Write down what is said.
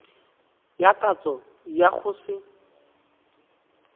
ya katso ya go se